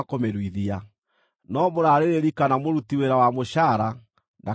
no mũrarĩrĩri kana mũruti wĩra wa mũcaara ndakanamĩrĩe.